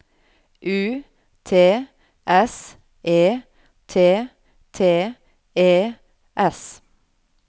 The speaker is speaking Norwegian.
U T S E T T E S